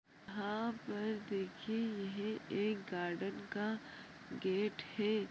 --हाँ पर देखिए यह एक गार्डन का गेट है।